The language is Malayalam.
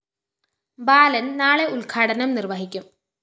ബാലന്‍ നാളെ ഉദ്ഘാടനം നിര്‍വഹിക്കും